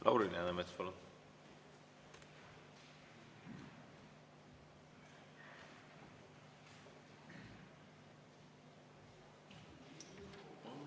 Lauri Läänemets, palun!